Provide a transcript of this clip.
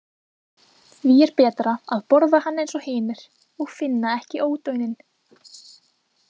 Því er betra að borða hann eins og hinir og finna ekki ódauninn.